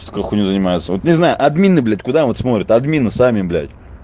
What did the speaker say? пускай хуйнёй занимается вот не знаю админы блядь куда вот смотрят админы сами блядь